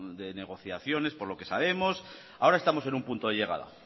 de negociaciones por lo que sabemos ahora estamos en un punto de llegada